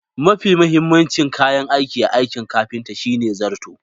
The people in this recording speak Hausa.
Mafi mahimmancin kayan aiki a aikin kafinta shine zarto